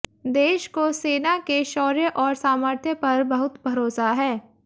देश को सेना के शौर्य और सामर्थ्य पर बहुत भरोसा है